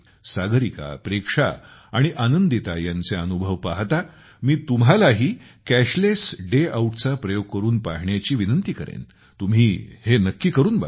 सागरिका प्रेक्षा आणि आनंदिता यांचे अनुभव पाहता मी तुम्हालाही कॅशलेस डे आऊटचा प्रयोग करून पाहण्याची विनंती करेन तुम्ही हे नक्की करून बघा